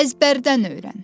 Əzbərdən öyrən.